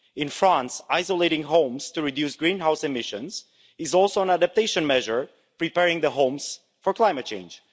In France, insulating homes to reduce greenhouse emissions is also an adaptation measure preparing the homes for climate change.